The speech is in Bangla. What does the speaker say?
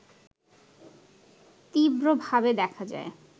তীব্রভাবে দেখা যায়